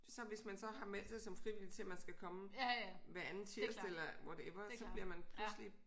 Så hvis man så har meldt sig som frivillig til at man skal komme hver anden tirsdag eller whatever så bliver man pludselig